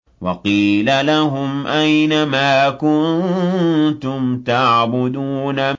وَقِيلَ لَهُمْ أَيْنَ مَا كُنتُمْ تَعْبُدُونَ